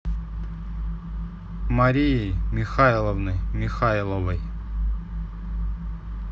марии михайловны михайловой